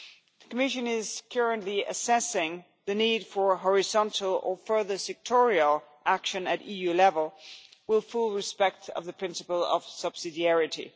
The Commission is currently assessing the need for horizontal or further sectoral action at EU level, with full respect for the principle of subsidiarity.